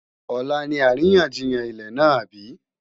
Ọ̀la ni àríyànjiyàn ilẹ̀ náà àbí?